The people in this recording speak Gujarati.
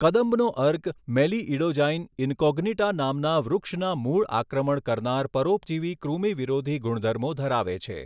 કદંબનો અર્ક મેલિઈડોજાઈન ઈનકોજ્ઞીટા નામના વૃક્ષના મૂળ આક્રમણ કરનાર પરોપજીવી કૃમિ વિરોધી ગુણધર્મો ધરાવે છે.